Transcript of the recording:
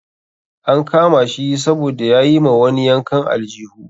An kama shi saboda ya yi ma wani yankan aljihu.